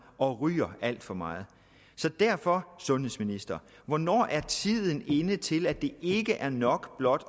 og ryger alt for meget derfor sundhedsministeren hvornår er tiden inde til at det ikke er nok blot